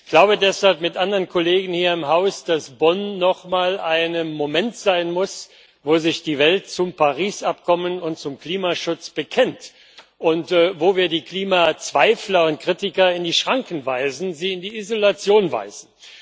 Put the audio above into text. Ich glaube deshalb mit anderen Kollegen hier im Haus, dass Bonn noch mal ein Moment sein muss, wo sich die Welt zum Übereinkommen von Paris und zum Klimaschutz bekennt und wo wir die Klimazweifler und kritiker in die Schranken weisen, sie in die Isolation weisen.